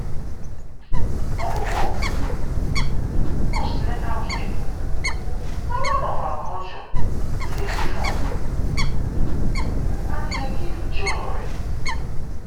omugwo(post-natal care) na one of our culture wey dey strong and e dey give joy.